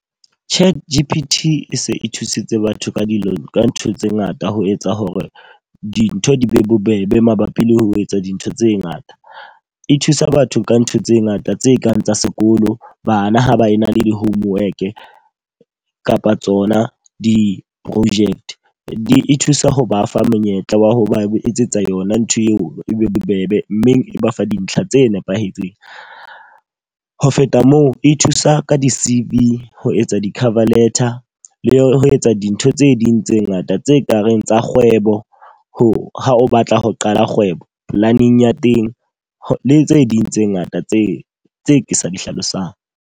Chat G_P_T e se e thusitse batho ka dilo ka ntho tse ngata ho etsa hore dintho di be bobebe mabapi le ho etsa dintho tse ngata. E thusa batho ka ntho tse ngata tse kang tsa sekolo, bana ha ba e na le di-homework, kapa tsona di-project. Di e thusa ho ba fa monyetla wa ho ba etsetsa yona ntho eo e be bobebe mme e ba fa dintlha tse nepahetseng. Ho feta moo, e thusa ka di-C_V ho etsa di-cover letter le ho etsa dintho tse ding tse ngata tse kareng tsa kgwebo, ha o batla ho qala kgwebo. Planning ya teng tse ding tse ngata tse tse ke sa di hlalosang.